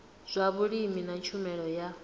zwa vhulimi na tshumelo ya